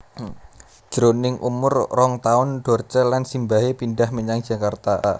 Jroning umur rong taun Dorce lan simbahé pindhah menyang Jakarta